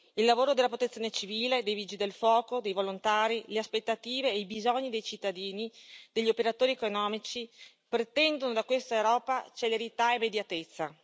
Il lavoro della Protezione civile, dei Vigili del Fuoco e dei volontari, le aspettative e i bisogni dei cittadini e degli operatori economici pretendono da questa Europa celerità e immediatezza.